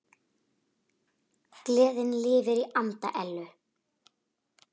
Gleðin lifir í anda Ellu.